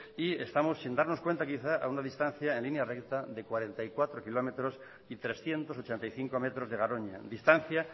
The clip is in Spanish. y estamos sin darnos cuenta quizás a una distancia en línea recta de cuarenta y cuatro kilómetros y trescientos ochenta y cinco metros de garoña distancia